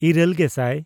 ᱤᱨᱟᱹᱞᱼᱜᱮᱥᱟᱭ